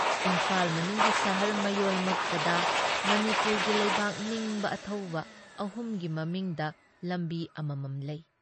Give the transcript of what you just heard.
ꯏꯝꯐꯥꯜ ꯃꯅꯨꯡꯒꯤ ꯁꯍꯔ ꯃꯌꯣꯜꯃꯛꯇꯗ ꯃꯅꯤꯄꯨꯔꯒꯤ ꯂꯩꯕꯥꯛ ꯅꯤꯡꯕ ꯑꯊꯧꯕ ꯑꯍꯨꯝꯒꯤ ꯃꯃꯤꯡꯗ ꯂꯝꯕꯤ ꯑꯃꯃꯝ ꯂꯩ ꯫